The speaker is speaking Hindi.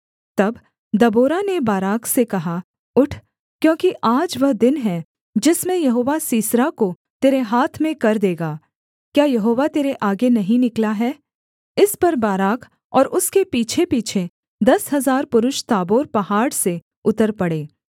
तब दबोरा ने बाराक से कहा उठ क्योंकि आज वह दिन है जिसमें यहोवा सीसरा को तेरे हाथ में कर देगा क्या यहोवा तेरे आगे नहीं निकला है इस पर बाराक और उसके पीछेपीछे दस हजार पुरुष ताबोर पहाड़ से उतर पड़े